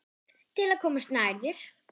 Til að komast nær þér.